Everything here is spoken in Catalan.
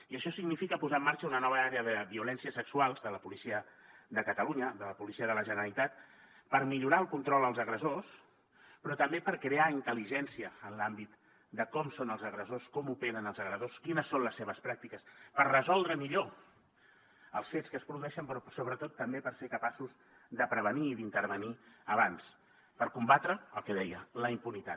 i això significa posar en marxa una nova àrea de violències sexuals de la policia de catalunya de la policia de la generalitat per millorar el control als agressors però també per crear intel·ligència en l’àmbit de com són els agressors com operen els agressors quines són les seves pràctiques per resoldre millor els fets que es produeixen però sobretot també per ser capaços de prevenir i d’intervenir abans per combatre el que deia la impunitat